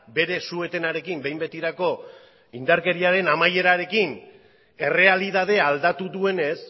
bere suetenarekin behin betirako indarkeriaren amaierarekin errealitatea aldatu duenez